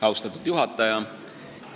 Austatud juhataja!